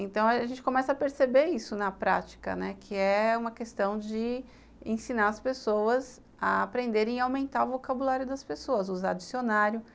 Então, a gente começa a perceber isso na prática, né, que é uma questão de ensinar as pessoas a aprenderem e aumentar o vocabulário das pessoas, usar dicionário.